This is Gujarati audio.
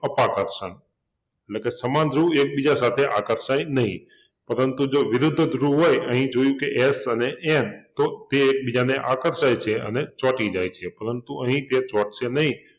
અપાકર્ષણ એટલે કે સમાન ધ્રુવ એકબીજા સાથે આકર્ષાય નહિ પરંતુ જો વિરુદ્ધ ધ્રુવ હોય અહિં જોયુ કે S અને N તો તે એકબીજાને આકર્ષાય છે અને ચોંટી જાય છે પરંતુ અહિં જો ચોંટશે નહિ